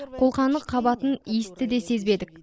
қолқаны қабатын иісті де сезбедік